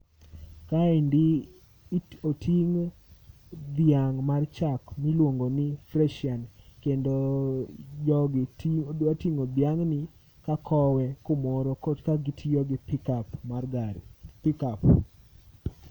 Kaendi oting' dhiang' mar chak miluongo ni Freshian kendo jogi ti dwating'o dhiang'ni ka kowe kumoro korka gitiyo gi pikap mar gari, pikap.